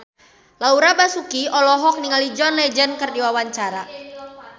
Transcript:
Laura Basuki olohok ningali John Legend keur diwawancara